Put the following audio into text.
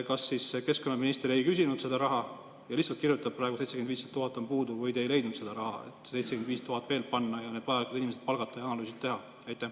Kas keskkonnaminister ei küsinud seda raha ja lihtsalt kirjutab praegu, et 75 000 on puudu, või te ei leidnud seda raha, et 75 000 veel juurde panna, need inimesed palgata ja analüüsid ära teha?